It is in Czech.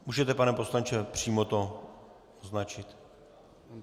Můžete, pane poslanče, přímo to označit.